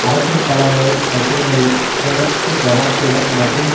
அரசியல் பல வகை தத்துவங்களையும் சிறப்பு கவனத்துடன் மற்றும்